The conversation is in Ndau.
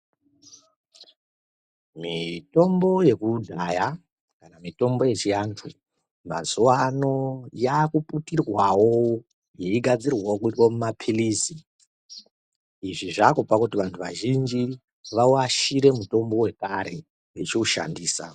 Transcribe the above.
Mitombo yekudhaya kana mitombo yechiantu mazuvano yaakuputirwawo yei gadzirwawo kuitwe mumapilizi, izvi zvaakupa kuti vantu vazhinji vawashire mutombo wekare wechiushandisa.